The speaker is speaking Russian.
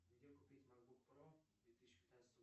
где купить макбук про две тысячи пятнадцатого